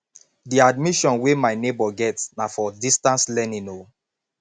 the admission wey my nebor get na for distance learning o